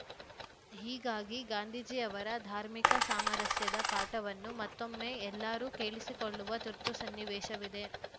ಹೀಗಾಗಿ ಗಾಂಧೀಜಿಯವರ ಧಾರ್ಮಿಕ ಸಾಮರಸ್ಯದ ಪಾಠವನ್ನು ಮತ್ತೊಮ್ಮೆ ಎಲ್ಲರೂ ಕೇಳಿಸಿಕೊಳ್ಳುವ ತುರ್ತು ಸನ್ನಿವೇಶವಿದೆ